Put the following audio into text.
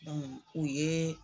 u yee